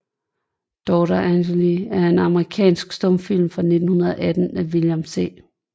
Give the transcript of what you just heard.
Daughter Angele er en amerikansk stumfilm fra 1918 af William C